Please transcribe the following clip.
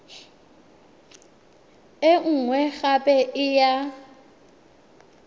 e nngwe gape e ya